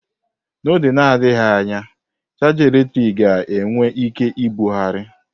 N'oge na-adịghị anya, chaja eletrik ga-enwe ike ibugharị.